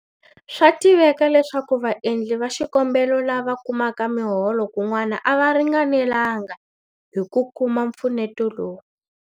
Swa tiveka leswaku vaendli va xikombelo lava kumaka miholo kun'wana a va ringanelanga hi ku kuma mpfuneto lowu.